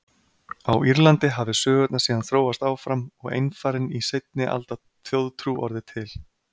Á Írlandi hafi sögurnar síðan þróast áfram og einfarinn í seinni alda þjóðtrú orðið til.